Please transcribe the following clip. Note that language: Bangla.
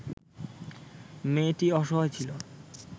মেয়েটি অসহায় ছিল